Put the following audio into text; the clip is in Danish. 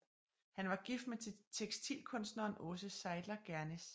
Han var gift med tekstilkunstneren Aase Seidler Gernes